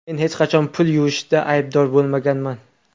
Men hech qachon pul yuvishda aybdor bo‘lmaganman.